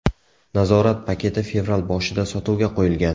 Nazorat paketi fevral boshida sotuvga qo‘yilgan .